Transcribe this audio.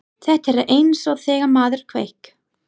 Þetta er eins og þegar maður kveik